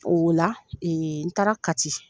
O la ee n taara kati.